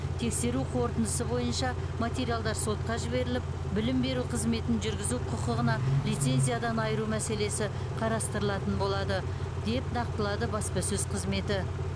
тексеру қорытындысы бойынша материалдар сотқа жіберіліп білім беру қызметін жүргізу құқығына лицензиядан айыру мәселесі қарастырылатын болады деп нақтылады баспасөз қызметі